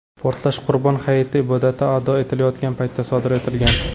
Portlash Qurbon hayiti ibodati ado etilayotgan paytda sodir etilgan.